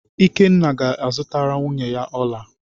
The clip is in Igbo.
Ikenna ga-azụtara nwunye ya ọla.